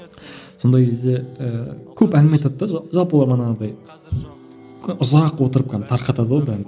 сондай кезде ііі көп әңгіме айтады да жалпы олар манағыдай ұзақ отырып кәдімгі тарқатады ғой бәрін